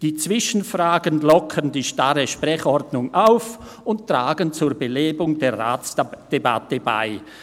Die Zwischenfragen lockern die starre Sprechordnung auf und tragen zur Belebung der Ratsdebatte bei.